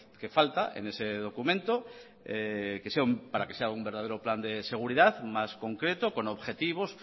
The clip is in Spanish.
que falta en ese documento para que sea un verdadero plan de seguridad más concreto con objetivos